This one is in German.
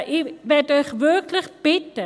Ich möchte euch wirklich bitten: